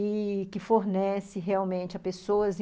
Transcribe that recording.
E que fornece realmente a pessoas.